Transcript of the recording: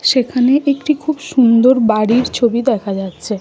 সেখানে একটি খুব সুন্দর বাড়ির ছবি দেখা যাচ্ছে ।